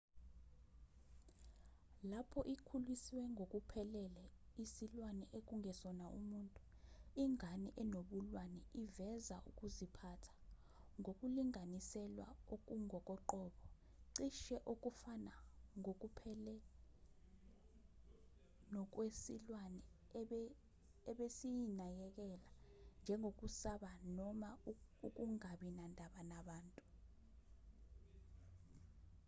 lapho ikhuliswe ngokuphelele isilwane ekungesona umuntu ingane enobulwane iveza ukuziphatha ngokulinganiselwa okungokoqobo cishe okufana ngokuphele nokwesilwane ebesiyinakekela njengokusaba noma ukungabi nandaba nabantu